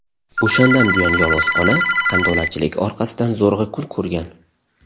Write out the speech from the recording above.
O‘shandan buyon yolg‘iz ona qandolatchilik orqasidan zo‘rg‘a kun ko‘rgan.